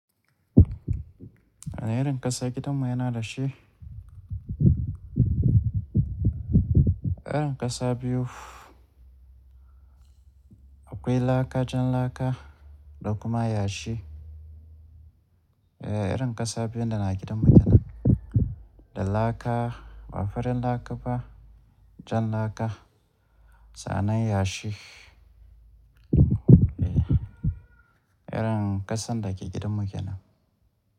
A irin ƙasar gidan mu yana da shi. Irin ƙasa biyu, akwai laaka jan laaka da kuma yashi. Ehh, irin ƙasa biyu da na gidan mu kenan. Da laaka, ba farin laaka ba jan laaka, sannan yashi. Eh, irin ƙasan da ke gidan mu kenan.